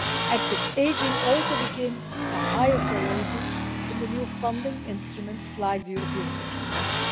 Active ageing also became a higher priority in the new funding instruments, such as the European Social Fund.